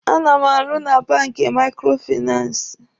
A na m arụ na banki Maikrofinansi.